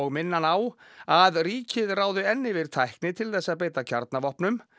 minna hann á að ríkið ráði enn yfir tækni til þess að beita kjarnavopnum